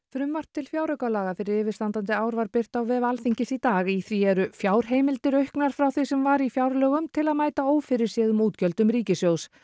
frumvarp til fjáraukalaga fyrir yfirstandandi ár var birt á vef Alþingis í dag í því eru fjárheimildir auknar frá því sem var í fjárlögum til að mæta ófyrirséðum útgjöldum ríkissjóðs